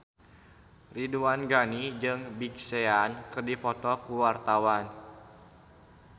Ridwan Ghani jeung Big Sean keur dipoto ku wartawan